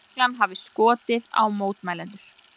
Lögreglan hafi skotið á mótmælendur